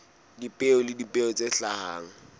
dipeo le dipeo tse hlahang